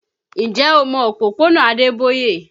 Ǹjẹ́ o mọ òpópónà Adeboye?